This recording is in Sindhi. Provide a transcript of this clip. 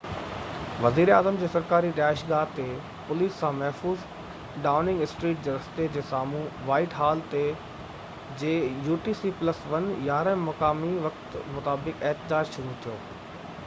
وزيراعظم جي سرڪاري رهائشگاه جي پوليس سان محفوظ ڊائوننگ اسٽريٽ جي رستي جي سامهو وائيٽ هال تي 11:00 مقامي وقت utc+1 جي مطابق احتجاج شروع ٿيو